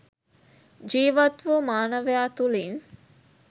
ජීවත්වූ මානවයා තුළින්